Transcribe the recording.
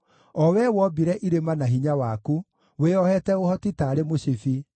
o Wee wombire irĩma na hinya waku, wĩohete ũhoti taarĩ mũcibi,